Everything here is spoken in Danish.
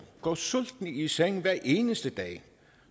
går sultne i seng hver eneste dag